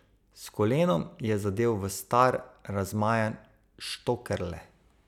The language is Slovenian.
S kolenom je zadel v star, razmajan štokerle.